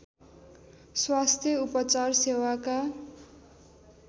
स्वास्थ्य उपचार सेवाका